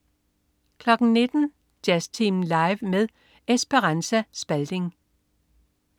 19.00 Jazztimen live med Esperanza Spalding